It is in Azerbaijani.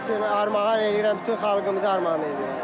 Bütün armağan eləyirəm, bütün xalqımıza armağan eləyirəm.